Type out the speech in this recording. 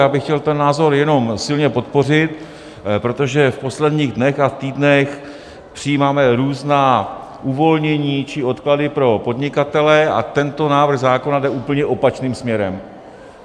Já bych chtěl ten názor jenom silně podpořit, protože v posledních dnech a týdnech přijímáme různá uvolnění či odklady pro podnikatele, a tento návrh zákona jde úplně opačným směrem.